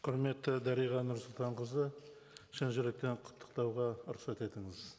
құрметті дариға нұрсұлтанқызы шын жүректен құттықтауға рұқсат етіңіз